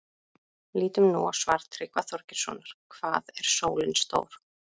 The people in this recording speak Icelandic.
Lítum nú á svar Tryggva Þorgeirssonar, Hvað er sólin stór?